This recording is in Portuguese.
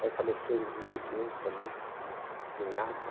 Aí faleceu um irmão meu também, uma cunhada.